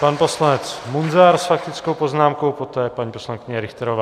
Pan poslanec Munzar s faktickou poznámkou, poté paní poslankyně Richterová.